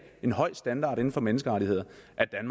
en høj standard inden for menneskerettigheder